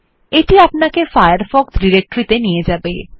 এটি আপনাকে Firefox directory ত়ে নিয়ে যাবে